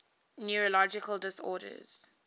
neurological disorders